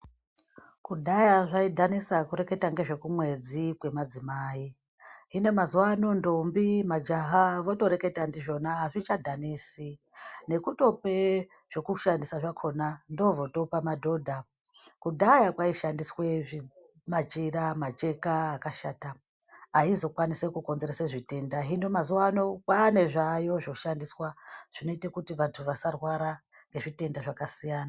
Kudhaya zvaidhanisa kureketa ngezvekumwedzi kwemadzimai hino mazuano ndombi majaha votoreketa ndizvona azvichadhanisi nekutope zvekushandisa zvakona ndozvotopa madhodha kudhaya kwaishandiswe machira macheka akashata aizokwanise kukonzerese zvitenda hino mazuwa ano kwaane zvaayo zvinoshandiswa zvinoite kuti vantu vasarwara nezvitenda zvakasiyana.